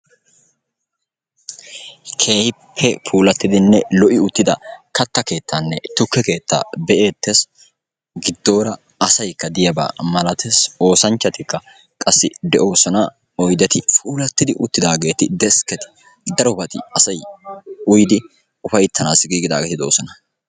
Keehippe puulattidinne lo"i uttida katta keettaanne tukke keetta be"eettes. Giddoora asayikka de"iyaaba malates. Oosanchchatikka qassi de"oosona. Oyideti puulatidi uttidaageeti deskketi darobati asay uyidi ufayittanaassi giigidaageeti doosona.